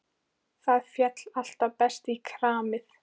Það féll alltaf best í kramið.